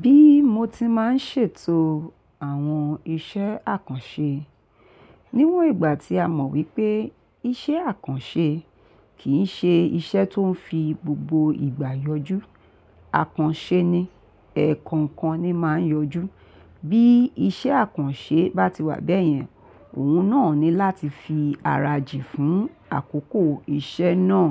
Bí mo ti máa ń ṣètò àwọn iṣẹ́ àkànṣe níwọ̀n ìgbà tí a mọ̀ wípé iṣẹ́ àkànṣe kì í ṣe iṣẹ́ tó ń fi gbogbo ìgbà yọjú. Àkànṣe ni, ẹ̀ẹ̀kọ̀kan ni máa ń yọjú. Bí iṣẹ́ àkànṣe bá ti wà bẹ́yẹn, òun náà ní láti fi ara jì fún àkókò iṣẹ́ náà.